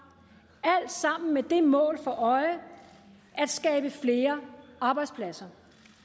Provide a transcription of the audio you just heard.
alt sammen med det mål for øje at skabe flere arbejdspladser